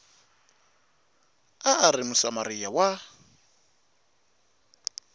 a a ri musamariya wa